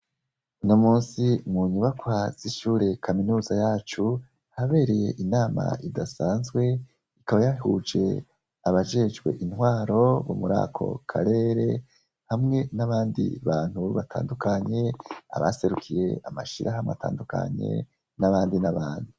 Unomunsi munyubakwa zishure kaminuza yacu habereye inama idasanzwe ikaba yahuje abajejwe intwaro bomurako karere hamwe nabandi bantu batandukanye abaserukiye amashirahamwe atandukanye nabandi nabandi